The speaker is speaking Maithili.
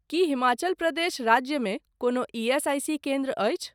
कि हिमाचल प्रदेश राज्यमे कोनो ईएसआईसी केन्द्र अछि ?